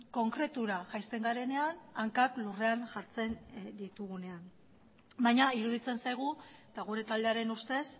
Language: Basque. konkretura jaisten garenean hankak lurrean jartzen ditugunean baina iruditzen zaigu eta gure taldearen ustez